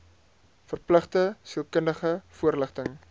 verpligte sielkundige voorligting